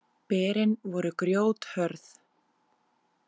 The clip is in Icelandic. Berin voru grjóthörð.